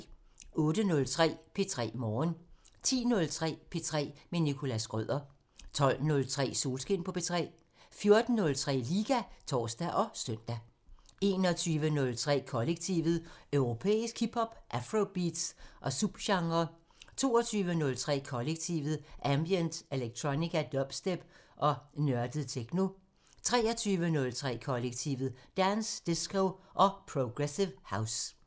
08:03: P3 Morgen 10:03: P3 med Nicholas Schrøder 12:03: Solskin på P3 14:03: Liga (tor og søn) 21:03: Kollektivet: Europæisk hip hop, afrobeats og subgenrer 22:03: Kollektivet: Ambient, electronica, dubstep og nørdet techno 23:03: Kollektivet: Dance, disco og progressive house